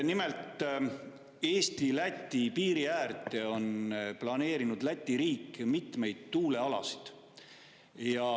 Nimelt, Eesti-Läti piiri äärde on Läti riik planeerinud mitmeid tuulealasid.